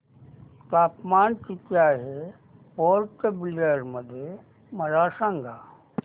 तापमान किती आहे पोर्ट ब्लेअर मध्ये मला सांगा